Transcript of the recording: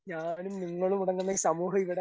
ഞാനും നിങ്ങളും അടങ്ങുന്ന ഈ സമൂഹം ഇവിടെ.